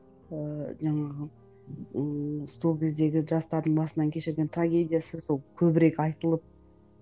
ыыы жаңағы ыыы сол кездегі жастардың басынан кешірген трагедиясы сол көбірек айтылып